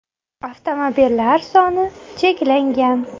Avtomobillar soni cheklangan.